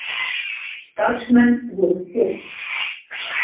Starfsmenn voru fimm